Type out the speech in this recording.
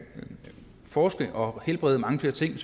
forske i og helbrede mange flere ting